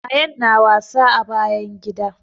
Ayaan na wasa a bayan gida